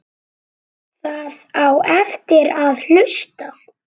Það á eftir að hlusta.